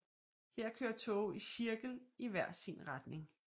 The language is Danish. Her kører toge i cirkel i hver sin retning